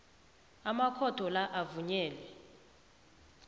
amakhotho la avunyelwe